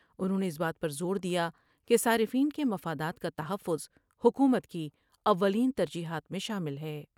انہوں نے اس بات پر زور دیا کہ صارفین کے مفادات کا تحفظ حکومت کی اولین ترجیحات میں شامل ہے ۔